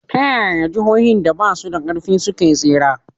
Ta yaya jihohin da ba su da ƙarfi suka tsira?